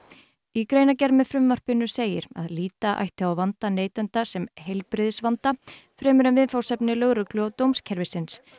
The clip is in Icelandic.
í greinargerð með frumvarpinu segir að líta ætti á vanda neytenda sem heilbrigðisvanda fremur en viðfangsefni lögreglu og dómskerfisins